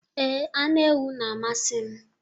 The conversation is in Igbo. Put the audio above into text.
Ee, anụ ewu na-amasị m.